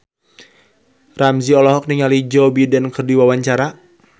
Ramzy olohok ningali Joe Biden keur diwawancara